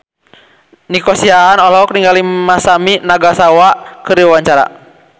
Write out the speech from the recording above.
Nico Siahaan olohok ningali Masami Nagasawa keur diwawancara